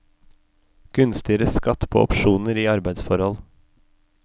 Gunstigere skatt på opsjoner i arbeidsforhold.